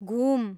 घुम